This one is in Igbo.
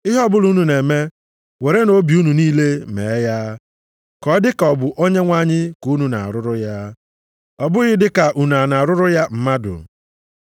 Ihe ọbụla unu na-eme, werenụ obi unu niile mee ya. Ka ọ dị ka ọ bụ Onyenwe anyị ka unu na-arụrụ ya, ọ bụghị dị ka unu na-arụrụ ya mmadụ.